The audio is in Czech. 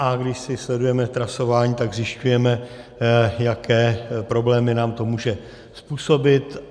A když si sledujeme trasování, tak zjišťujeme, jaké problémy nám to může způsobit.